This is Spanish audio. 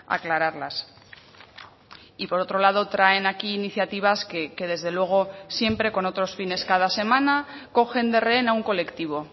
aclararlas y por otro lado traen aquí iniciativas que desde luego siempre con otros fines cada semana cogen de rehén a un colectivo